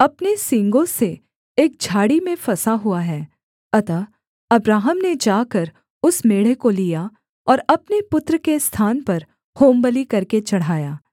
अपने सींगों से एक झाड़ी में फँसा हुआ है अतः अब्राहम ने जाकर उस मेढ़े को लिया और अपने पुत्र के स्थान पर होमबलि करके चढ़ाया